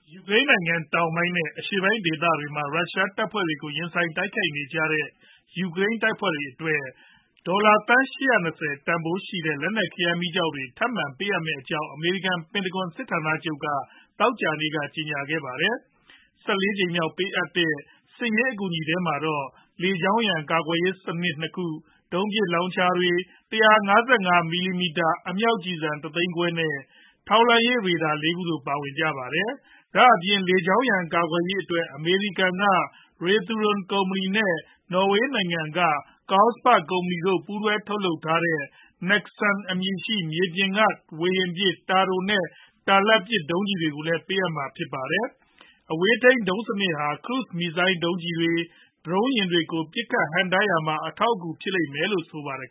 ယူကရိန်းနိုင်ငံ တောင်ပိုင်း နဲ့ အရှေ့ပိုင်းဒေသတွေမှာ ရုရှားတပ်ဖွဲ့တွေကို ရင်ဆိုင်တိုက်ခိုက်နေကြတဲ့ ယူကရိန်းတပ်ဖွဲ့တွေအတွက် ဒေါ်လာသန်း ၈၂၀ တန်ဘိုးရှိတဲ့ လက်နက်ခဲယမ်းမီးကျောက်တွေ ထပ်မံ ပေးအပ်မယ့်အကြောင့် အမေရိကန် ပင်တဂွန် စစ်ဌာနချုပ်ကနေ သောကြာနေ့က ကြေညာခဲ့ပါတယ်။ ၁၄ ကြိမ်မြောက် ပေးအပ်တဲ့ စစ်ရေး အကူအညီထဲမှာတော့ လေကြောင်းရန် ကာကွယ်ရေးစနစ် ၂ ခု၊ ဒုံးပစ်လောင်ချာတွေ၊ ၁၅၅ မမ အမြောက်ကျည်ဆံ တသိန်းခွဲ နဲ့ ထောက်လှမ်းရေးရေဒါ ၄ ခု တို့ ပါဝင်ကြပါတယ်။ ဒါအပြင် လေကြောင်းရန် ကာကွယ်ရေးအတွက် အမေရိကန်က Raytheon ကုမ္ပဏီနဲ့ နော်ဝေနိုင်ငံက Kongsberg ကုမ္ပဏီတို့ ပူးတွဲထုတ်လုပ်ထားတဲ့ NASAMS အမည်ရှိ မြေပြင်မှ ဝေဟင်ပစ် တာတို နဲ့ တာလတ် ဒုံးကျည်တွေလည်း ပေးမှာဖြစ်ပါတယ်။ အဝေးထိန်း ဒုံးစနစ်ဟာ ခရုဇ်မစ်ဇိုင်းဒုံးတွေ၊ ဒရုန်းယာဉ်တွေကို ဟန့်တားပစ်ခတ်ရာမှာ အထောက်အကူ ဖြစ်လိမ့်မယ်လို့လည်း ဆိုပါတယ်